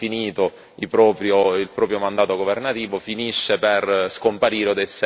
il proprio mandato governativo finisce per scomparire o essere imprigionato.